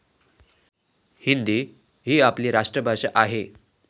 हिंदी ही आपली राष्ट्र भाषा आहे.